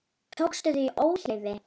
Tókstu þau í óleyfi?